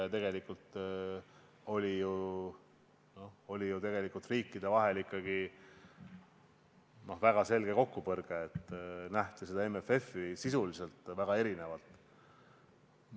Tegelikult oli ju riikide vahel väga selge kokkupõrge, MFF-i nähti sisuliselt väga erinevalt.